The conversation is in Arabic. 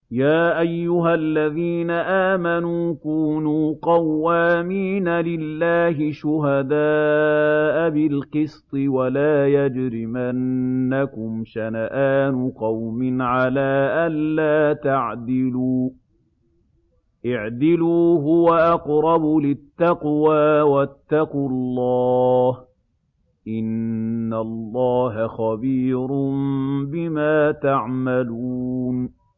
يَا أَيُّهَا الَّذِينَ آمَنُوا كُونُوا قَوَّامِينَ لِلَّهِ شُهَدَاءَ بِالْقِسْطِ ۖ وَلَا يَجْرِمَنَّكُمْ شَنَآنُ قَوْمٍ عَلَىٰ أَلَّا تَعْدِلُوا ۚ اعْدِلُوا هُوَ أَقْرَبُ لِلتَّقْوَىٰ ۖ وَاتَّقُوا اللَّهَ ۚ إِنَّ اللَّهَ خَبِيرٌ بِمَا تَعْمَلُونَ